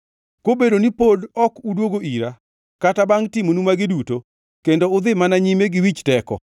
Kobedo ni pod ok udwogo ira kata bangʼ timonu magi duto, kendo udhi mana nyime gi wich teko,